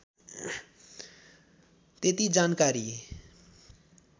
त्यति जानकारी